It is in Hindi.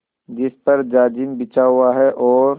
जिस पर जाजिम बिछा हुआ है और